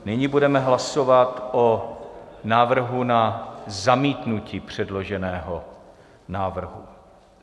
Nyní budeme hlasovat o návrhu na zamítnutí předloženého návrhu.